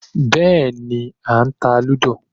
Bẹ́ẹ̀ni, à ń ta lúdò